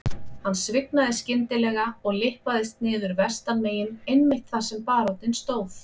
Hann svignaði skyndilega og lyppaðist niður vestanmegin einmitt þar sem baróninn stóð.